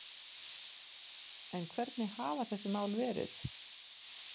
En hvernig hafa þessi mál verið